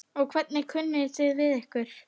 Og hvernig kunni þið við ykkur?